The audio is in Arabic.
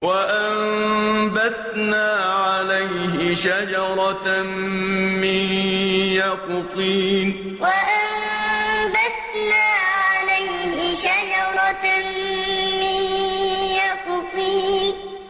وَأَنبَتْنَا عَلَيْهِ شَجَرَةً مِّن يَقْطِينٍ وَأَنبَتْنَا عَلَيْهِ شَجَرَةً مِّن يَقْطِينٍ